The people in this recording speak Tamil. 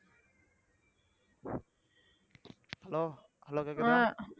hello hello கேக்குதா